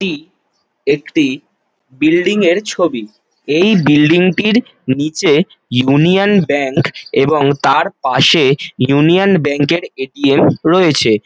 এটি একটি বিল্ডিং এর ছবি এই বিল্ডিং টির নিচে ইউনিয়ন ব্যাঙ্ক এবং তার পাশে ইউনিয়ন ব্যাঙ্ক এর এ.টি.এম. রয়েছে।